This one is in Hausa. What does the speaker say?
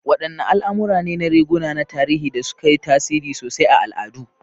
Wadanne al'amura ne na riguna na tarihi da suka yi tasiri sosai a al'adu?